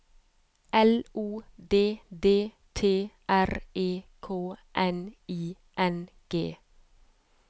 L O D D T R E K N I N G